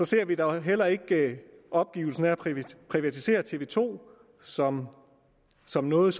ser vi da heller ikke opgivelsen af at privatisere tv to som som noget